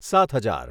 સાત હજાર